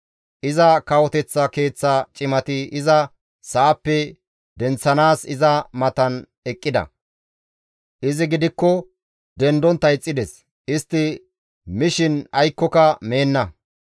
Iza kawoteththa keeththa cimati iza sa7appe denththanaas iza matan eqqida; izi gidikko dendontta ixxides; istti mishin aykkoka mibeenna.